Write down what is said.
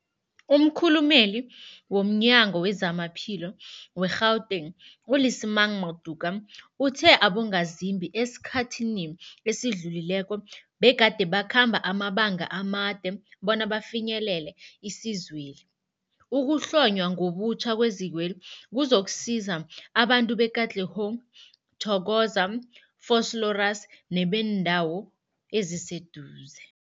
Umkhulumeli womNyango weZamaphilo we-Gauteng, u-Lesemang Matuka uthe abongazimbi esikhathini esidlulileko begade bakhamba amabanga amade bona bafinyelele isizweli. Ukuhlonywa ngobutjha kwezikweli kuzokusiza abantu be-Katlehong, Thokoza, Vosloorus nebeendawo eziseduze.